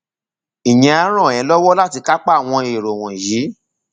ìyẹn á ràn ẹ lọwọ láti kápá àwọn èrò wọnyí